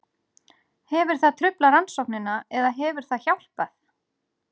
Hefur það truflað rannsóknina eða hefur það hjálpað?